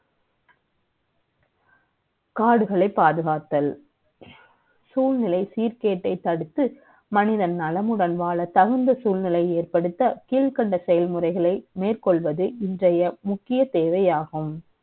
காடுகளை பாதுகாத்தல், சூழ்நிலை சீர்கே ட்டை தடுத்து, மனிதன் நலமுடன் வாழ தகுந்த சூழ்நிலை யை ஏற்படுத்த, கீழ்கண்ட செ யல்முறை களை மே ற்க ொள்வது, இன்றை ய முக்கிய தே வை யாகும்.